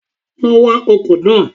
Lọ wa ọkọ̀ náà